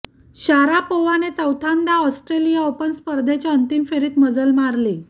शारापोव्हाने चौथ्यांदा Australian Open स्पर्धेच्या अंतिम फेरीत मजल मारली